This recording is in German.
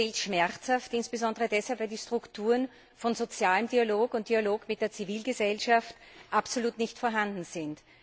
Das fehlt schmerzhaft, insbesondere weil die Strukturen von sozialem Dialog und Dialog mit der Zivilgesellschaft absolut nicht vorhanden sind.